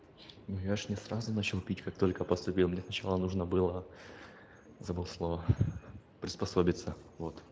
ну я же не сразу начал пить как только поступил мне сначала нужно было забыл слово приспособиться вот